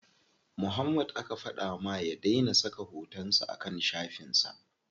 Muhammad aka fada ma ya dai na saka hoton sa a kan shafin sa.